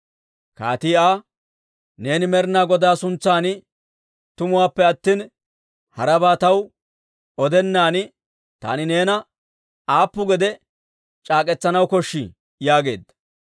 Kaatii Aa, «Neeni Med'inaa Godaa suntsan tumuwaappe attina harabaa taw odennaadan taani neena aappu gede c'aak'k'etsanaw koshshii?» yaageedda.